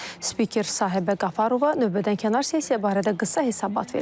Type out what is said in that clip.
Spiker Sahiba Qafarova növbədənkənar sessiya barədə qısa hesabat verib.